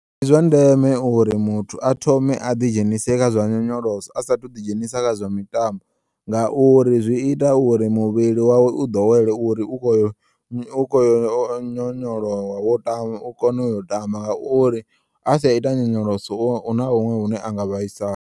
Ndi zwa ndeme uri muthu a thome a ḓi dzhenise kha zwa nyonyoloso a sathu ḓi dzhenisa kha zwa mitambo ngauri zwi ita uri muvhili wawe u ḓowele uri u khoyo u kho nyonyolowa wo ta u kone u yo tamba ngauri asaita nyonyoloso huna huṅwe hune anga vhaisala.